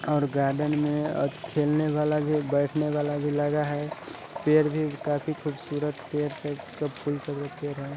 और गार्डन में एक खेलने वाला भी और एक बेठने वाला भी लगा है पेड़ भी काफी खूबसूरत पेड़ है है|